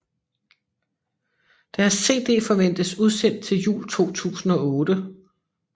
Deres cd forventes udsendt til jul 2008